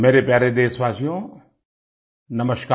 मेरे प्यारे देशवासियो नमस्कार